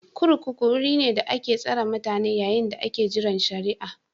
kurkuku wuri ne da ake tsare mutane yayin da ake jiran shari'a